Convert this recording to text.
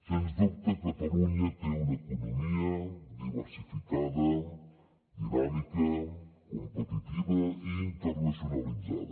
sens dubte catalunya té una economia diversificada dinàmica competitiva i internacionalitzada